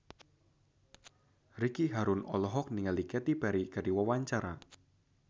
Ricky Harun olohok ningali Katy Perry keur diwawancara